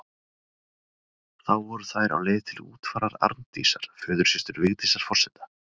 Þá voru þær á leið til útfarar Arndísar, föðursystur Vigdísar forseta.